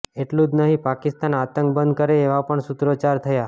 એટલું જ નહીં પાકિસ્તાન આંતક બંધ કરે એવા પણ સૂત્રોચ્ચાર થયા